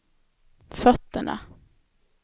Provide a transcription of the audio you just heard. fötterna